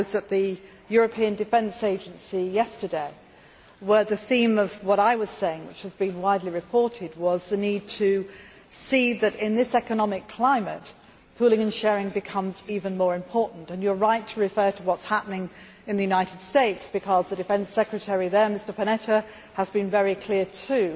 I was at the European Defence Agency yesterday, where the theme of what I was saying which has been widely reported was the need to see that in this economic climate pooling and sharing becomes even more important. You are right to refer to what is happening in the United States because the Defense Secretary there, Mr Panetta, has been very clear too.